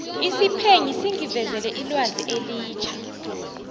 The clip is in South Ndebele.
isiphenyi singivezele ilwazi elitjha